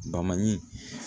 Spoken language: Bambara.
Baman ɲi